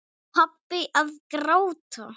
Pabbi að gráta!